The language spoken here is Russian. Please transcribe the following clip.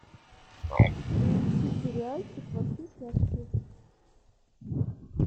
сериальчик во все тяжкие